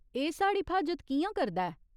एह् साढ़ी फ्हाजत कि'यां करदा ऐ ?